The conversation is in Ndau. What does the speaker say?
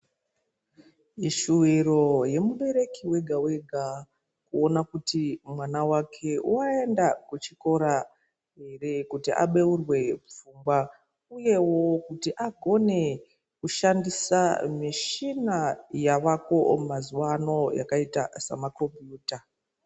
Ishuwiro yemubereki wega wega kuona kuti mwana wake woenda kuchikora here kuti abeurwe pfungwa uyewo kuti agone kushandisa michina yavako mazuvano yakaita sema kombiyuta.